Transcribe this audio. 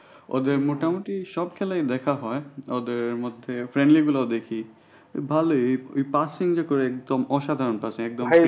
ওদের মোটামুটি সব খেলায় দেখা হয়, ওদের মধ্যে গুলা দেখি ভালোই ওই passing যে করে একদম অসাধারণ passing